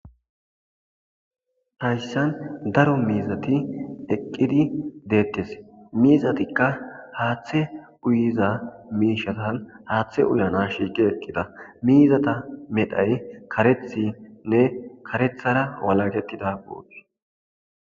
hayssan daro miizati eqqidi deettes miizatikka haaththe uyiza miishatan haaththe ulana shiiqi eqqida miizata medhay karethinne karethara walagettida goopi